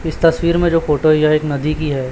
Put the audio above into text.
इस तस्वीर में जो फोटो है यह एक नदी की है।